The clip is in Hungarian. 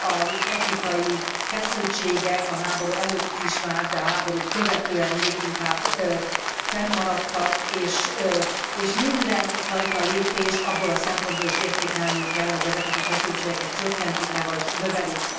Az etnikai feszültségek a háború előtt is már, de a háborút követően még inkább fennmaradtak, és mindenfajta lépést abból a szempontból is értékelnünk kell, hogy ezeket a feszültségeket csökkentik e vagy növelik.